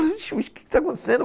Vixe, mas o que está acontecendo?